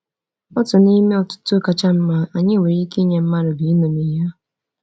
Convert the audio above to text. Otu n’ime otuto kacha mma anyị nwere ike inye mmadụ bụ iṅomi ya.